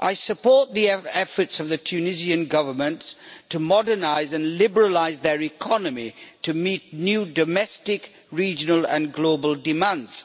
I support the efforts of the Tunisian Government to modernise and liberalise their economy to meet new domestic, regional and global demands.